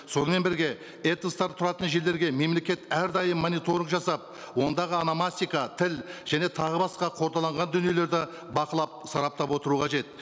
сонымен бірге этностар тұратын жерлерге мемлекет әрдайым мониторинг жасап ондағы ономастика тіл және тағы басқа қордаланған дүниелерді бақылап сараптап отыруы қажет